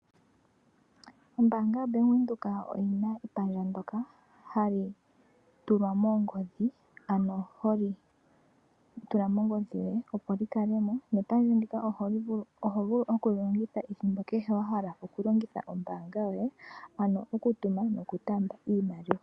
Ombaanga ya Bank Windhoek oyina epandja ndoka hali tulwa moongodhi ano holi tula mongodhi yoye opo li kale mo. Nepandja ndika oho vulu okuli longitha ethimbo kehe wa hala okulongitha ombaanga yoye. Ano okutuma nokutaamba iimaliwa.